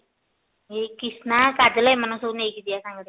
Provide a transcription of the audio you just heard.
ଏଇ କ୍ରୀଷ୍ଣା କାଜଲ ଏଇମାନଙ୍କୁ ସବୁ ନେଇ କି ଯିବା ସାଙ୍ଗରେ